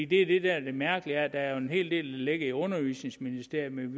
det er det der er det mærkelige at der er en hel del ligger i undervisningsministeriet men